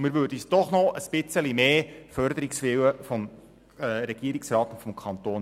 Wir wünschen uns noch etwas mehr Förderungswille von Regierungsrat und Kanton.